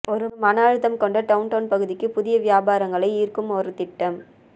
ஒரு மன அழுத்தம் கொண்ட டவுன்டவுன் பகுதிக்கு புதிய வியாபாரங்களை ஈர்க்கும் ஒரு திட்டம்